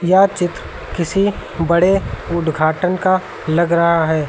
यह चित्र किसी बड़े उदघाटन का लग रहा है।